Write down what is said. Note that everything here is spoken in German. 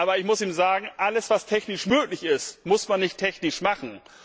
Aber ich muss sagen, alles, was technisch möglich ist, muss man nicht technisch machen.